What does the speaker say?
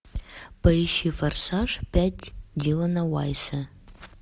поищи форсаж пять дилана уайсса